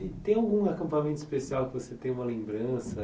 E tem algum acampamento especial que você tem uma lembrança?